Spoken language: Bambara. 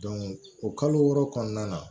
o kalo wɔɔrɔ kɔnɔna na